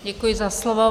Děkuji za slovo.